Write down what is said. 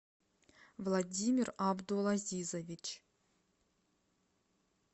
владимир абдулазизович